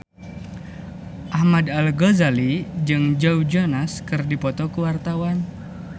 Ahmad Al-Ghazali jeung Joe Jonas keur dipoto ku wartawan